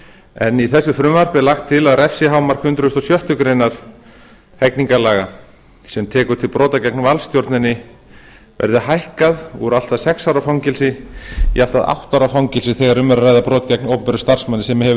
en í þessu frumvarpi er lagt til að refsihámark hundrað og sjöttu grein hegningarlaga sem tekur til brota gegn valdstjórninni verði hækkað úr allt að sex ára fangelsi í allt að átta ára fangelsi þegar um er að ræða brot gegn opinberum starfsmanni sem hefur